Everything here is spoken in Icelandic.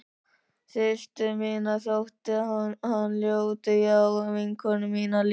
Systur minni þótti hann ljótur já og vinkonum mínum líka.